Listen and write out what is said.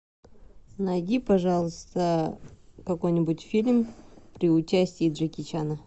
найди пожалуйста какой нибудь фильм при участии джеки чана